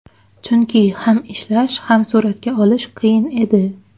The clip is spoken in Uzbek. Chunki ham ishlash, ham suratga olish qiyin edi.